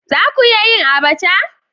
Za ku iya yin Abacha?